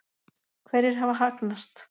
Hverjir hafa hagnast?